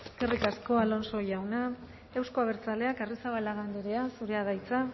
eskerrik asko alonso jauna euzko abertzaleak arrizabalaga andrea zurea da hitza